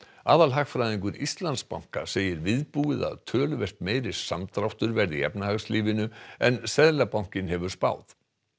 aðalhagfræðingur Íslandsbanka segir viðbúið að töluvert meiri samdráttur verði í efnahagslífinu en Seðlabankinn hefur spáð